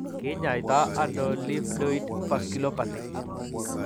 Kiny'aayto nano livedoid vasculopathy?